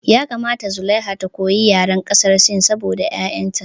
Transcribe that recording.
Ya kamata zulaiha ta koyi yaren ƙasar sin saboda ƴaƴan ta